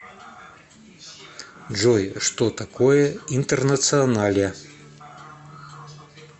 джой что такое интернационале